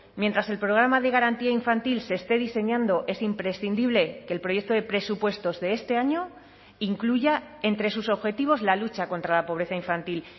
mientras el programa de garantía infantil se esté diseñando es imprescindible que el proyecto de presupuestos de este año incluya entre sus objetivos la lucha contra la pobreza infantil